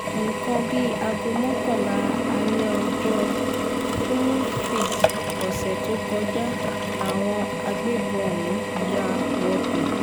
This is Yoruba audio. nǹkan bíi aago mọ́kànlá alẹ́ ọjọ́ furuufee ọ̀sẹ̀ tó kọjá làwọn agbébọn ọ̀hún ya wọbẹ̀